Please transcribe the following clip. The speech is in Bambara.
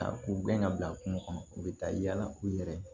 Ta k'u gɛn ka bila kungo kɔnɔ u bɛ taa yala u yɛrɛ ye